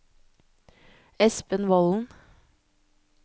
Espen Volden